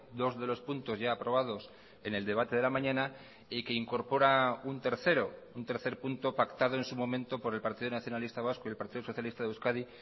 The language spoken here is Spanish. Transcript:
dos de los puntos ya aprobados en el debate de la mañana y que incorpora un tercero un tercer punto pactado en su momento por el partido nacionalista vasco y el partido socialista de euskadi